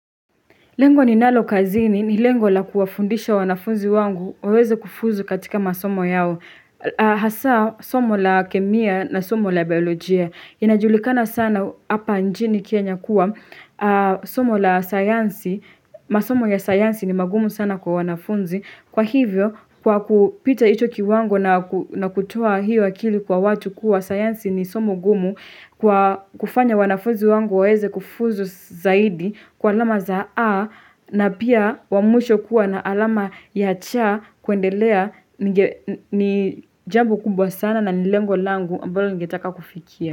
Lengo ni nalo kazini ni lengo la kuwafundisha wanafunzi wangu waweze kufuzu katika masomo yao. Hasa, somo la kemia na somo la biolojia. Inajulikana sana hapa njini kenya kuwa, somo la sayansi, masomo ya sayansi ni magumu sana kwa wanafunzi. Kwa hivyo, kwa kupita hicho kiwango na kutoa hiyo akili kwa watu kuwa sayansi ni somo gumu Kwa kufanya wanafunzi wangu waeze kufuzu zaidi kwa alama za A na pia wamisho kuwa na alama ya cha kuendelea ni jambo kumbwa sana na nilengo langu ambalo ningetaka kufikia.